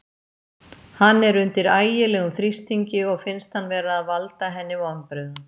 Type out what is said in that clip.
Hann er undir ægilegum þrýstingi og finnst hann vera að valda henni vonbrigðum.